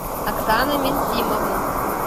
оксана менсимовна